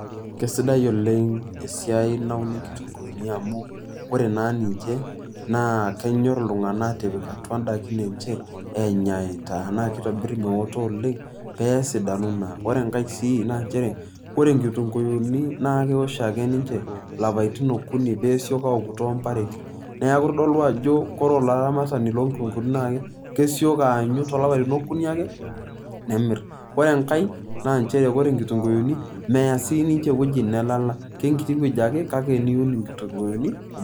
Kesidae oleng esiai nauni nkitunkuuni amu, kore naa ninche, naa kenyor iltung'anak atipik atua daikin enche, enyaita na kitobir meoto oleng, peesidanu naa. Ore enkae si na njere, ore nkitunkuyuni na kewosh ake ninche lapaitin okuni pesoku tompareti. Neeku kitodolu ajo kore olaramatani lo nkutunkuuni na kesoki aanyu tolapaitin okuni ake, nemir. Ore emkae, na njere ore nkitunkuyuni, mea sininche ewueji nelala. Kenkiti wueji ake, kake niun inkitunkuyuni kumok.